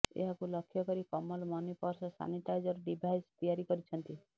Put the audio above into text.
ଏହାକୁ ଲକ୍ଷ୍ୟ କରି Kamal Mani purse sanitizer device ତିଆରି କରିଛନ୍ତି